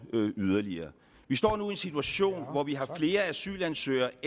yderligere vi står nu i en situation hvor vi har flere asylansøgere